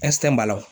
ɛsike